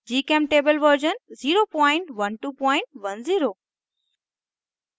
gchemtable version 01210